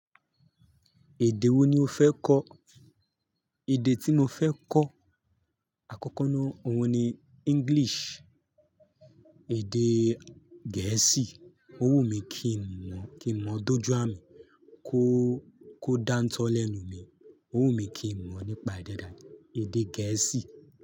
Èdè wo ni o fẹ́ kọ̀? Èdè tí mo fẹ́ kọ̀ àkọ́kọ́ náà, òun ni English. Èdè Gẹ̀ẹ́sì, ó wù mí kí n mọ̀, kí n mọ̀ dojú à mi, kó, kó dántọ́ lẹ́nu mi. Ó wù mí kí n mọ̀ nípa è dàda, èdè Gẹ̀ẹ́sì.